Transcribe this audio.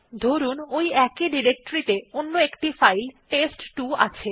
ধরুন ওই একই ডিরেক্টরি ত়ে অন্য একটি ফাইল টেস্ট2 আছে